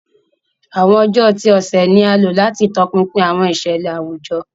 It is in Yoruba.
Awọn ọjọ ti ọsẹ ni a lo lati tọpinpin awọn iṣẹlẹ awujọ.